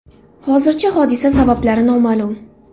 Hozircha hodisa sabablari noma’lum.